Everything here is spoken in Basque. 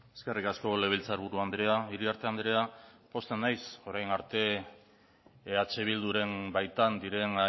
eskerrik asko legebiltzarburu andrea iriarte andrea pozten naiz orain arte eh bilduren baitan diren